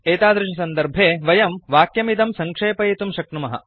एतादृशसन्दर्भे वयं वाक्यमिदं सङ्क्षेपयितुं शक्नुमः